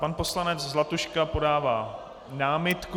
Pan poslanec Zlatuška podává námitku.